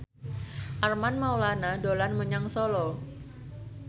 Armand Maulana dolan menyang Solo